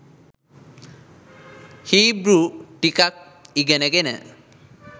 Hebrew ටිකක් ඉගෙනගෙන